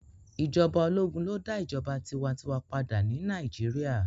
Ijọba ologun lo da ijọba tiwantiwa pada ni Nàìjíríà